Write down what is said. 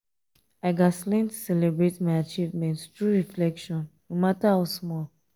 i gats learn to celebrate my achievements through reflection no matter how small.